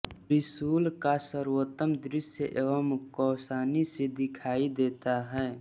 त्रिशूल का सर्वोत्तम दृश्य एवं कौसानी से दिखाई देता है